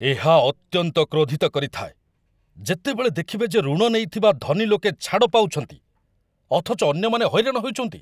ଏହା ଅତ୍ୟନ୍ତ କ୍ରୋଧିତ କରିଥାଏ, ଯେତେବେଳେ ଦେଖିବେ ଯେ ଋଣ ନେଇଥିବା ଧନୀଲୋକେ ଛାଡ଼ ପାଉଛନ୍ତି, ଅଥଚ ଅନ୍ୟମାନେ ହଇରାଣ ହେଉଛନ୍ତି।